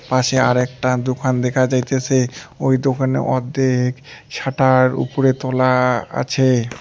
পাশে আরেকটা দোকান দেখা যাইতেসে ওই দোকানে অর্ধেক শাটার উপরে তোলা আছে।